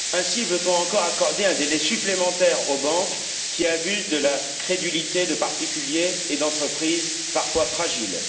Ainsi, on veut encore accorder un délai supplémentaire aux banques qui abusent de la crédulité de particuliers et d'entreprises parfois fragiles.